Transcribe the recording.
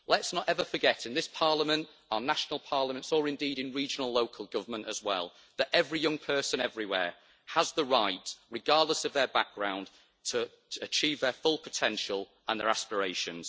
Let's not ever forget in this Parliament, our national parliaments, or indeed in regional local government as well, that every young person everywhere has the right, regardless of their background, to achieve their full potential and their aspirations.